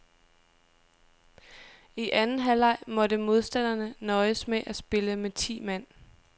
I anden halvleg måtte modstanderne nøjes med at spille med ti mand.